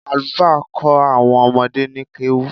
Àlùfáà ń kó àwọn ọmọdé ni kéwú